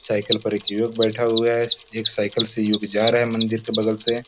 Cycle पर एक युवक बैठे हुए है एक साइकिल से युवक जा रहा है मंदिर के बगल से।